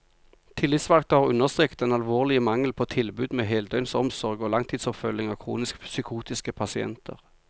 Tillitsvalgte har understreket den alvorlige mangel på tilbud med heldøgnsomsorg og langtidsoppfølging av kronisk psykotiske pasienter.